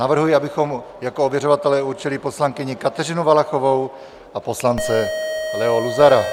Navrhuji, abychom jako ověřovatele určili poslankyni Kateřinu Valachovou a poslance Leo Luzara.